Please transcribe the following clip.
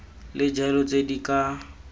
le jalo tse di ka